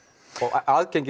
aðgengi